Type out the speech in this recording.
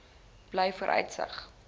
blyvooruitsig